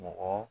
Mɔgɔ